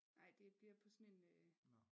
Nej det bliver på sådan en øh